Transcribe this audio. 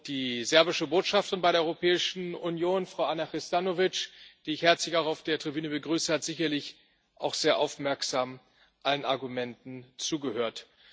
Die serbische Botschafterin bei der Europäischen Union, Frau Ana Hrustonavic, die ich herzlich auch auf der Tribüne begrüße, hat sicherlich auch sehr aufmerksam allen Argumenten zugehört.